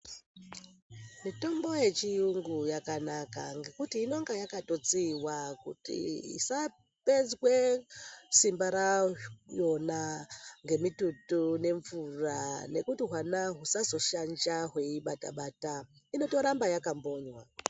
Mitombo yechiyungu yakanaka ngekuti inonga yakatotsiiwa kuti isapedzwe simba rayona ngemitutu nemvura nekuti hwana husazoshanja hweiibatabata, inotoramba yakambonywa.